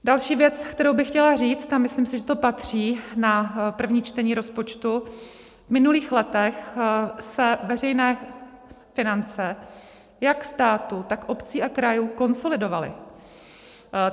Další věc, kterou bych chtěla říct, a myslím si, že to patří na první čtení rozpočtu, v minulých letech se veřejné finance jak státu, tak obcí a krajů konsolidovaly.